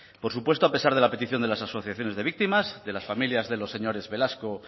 por supuesto a pesar de la petición de las asociaciones de víctimas de las familias de los señores velasco